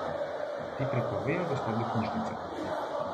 Ti prepovejo dostop do knjižnice.